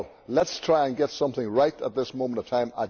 Let us try and get something right at this moment in time.